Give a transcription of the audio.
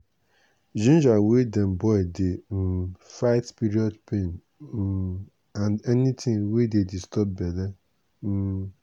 ginger wey dem boil dey um fight period pain um and anything wey dey disturb belle. um